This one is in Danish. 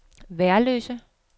Værløse